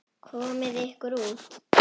Komiði ykkur út.